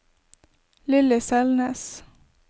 Lilly Selnes